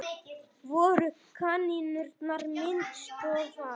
Voru kanínurnar misnotaðar?